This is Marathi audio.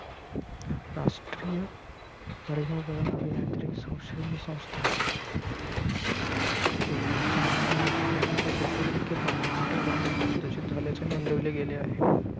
राष्ट्रीय पर्यावरण अभियांत्रिकी संशोधन संस्था यांच्या म्हणण्यानुसार नदीचे सत्तर टक्के पाणी मोठ्या प्रमाणात प्रदूषित झाल्याचे नोंदविले गेले आहे.